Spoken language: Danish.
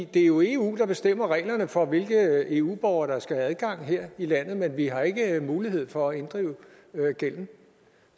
det er jo eu der bestemmer reglerne for hvilke eu borgere der skal have adgang her i landet men vi har ikke mulighed for at inddrive gælden